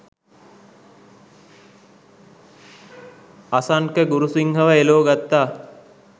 අසන්ක ගුරුසින්හ ව එලෝ ගත්තා